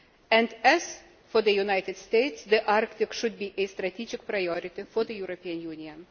As it is for the United States, the Arctic should be a strategic priority for the European Union.